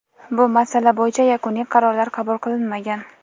bu masala bo‘yicha yakuniy qarorlar qabul qilinmagan.